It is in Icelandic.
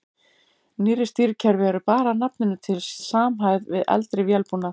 Nýrri stýrikerfi eru bara að nafninu til samhæfð við eldri vélbúnað.